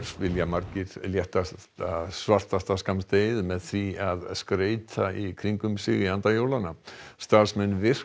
vilja margir létta svartasta skammdegið með því að skreyta í kringum sig í anda jólanna starfsmenn virk